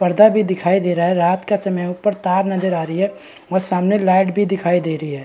पर्दा भी दिखाई दे रहा है रात का समय ऊपर तार भी नजर आ रही है और सामने लाइट भी दिखाई दे रही है।